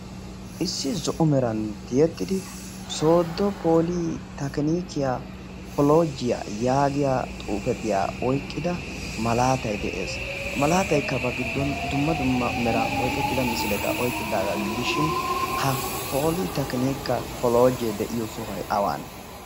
issi zo77o meran tiyettidi sodo poli takinikiyaa kolojiyaa yaagiya xuufetiyaa oiqqida malaatai de7ees. ha malaataikkabaa giddon dumma dumma meran oiqettida misileta oiqqidaagaa gidishin ha poli-takinika kolojee de7iyo sohoy awane?